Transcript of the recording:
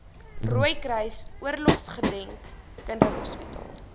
rooikruis oorlogsgedenk kinderhospitaal